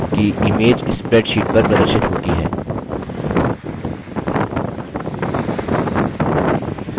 ध्यान दें कि image spreadsheet पर प्रदर्शित होती है